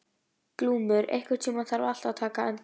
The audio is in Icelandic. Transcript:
Glúmur, einhvern tímann þarf allt að taka enda.